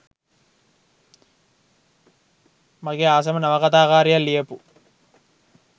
මගේ ආසම නවකතා කාරියක් ලියපු.